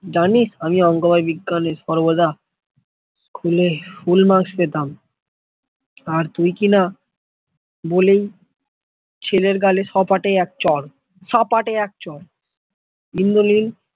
জানি আমি অংক আর বিজ্ঞানের সর্বদা school full marks পেতম, আর তুই কি না বলেই ছেলের গালে সপাটে একটা চর সপাটে এক চর